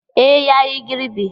E ya yi girbi.